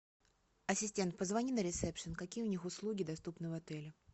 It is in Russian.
ассистент позвони на ресепшн какие у них услуги доступны в отеле